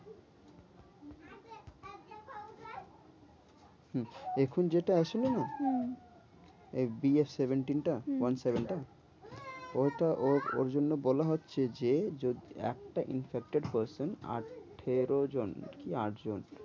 হম এখন যেটা আসলো না? হম এই BF seventeen টা হম one seven টা। ঐটা ওর ওর জন্য বলা হচ্ছে যে যদি একটা infected হয়েছে আঠেরো জন কি আট জন।